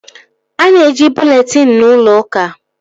A na-eji bụleetịn n'ụlọ uka